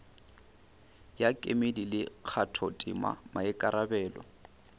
ya kemedi le kgathotema maikarabelo